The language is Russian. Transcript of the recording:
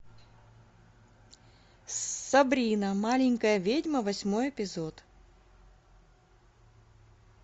сабрина маленькая ведьма восьмой эпизод